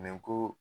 Nin ko